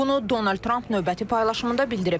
Bunu Donald Tramp növbəti paylaşımında bildirib.